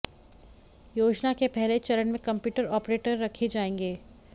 योजना के पहले चरण में कंप्यूटर ऑपरेटर रखे जाएंगे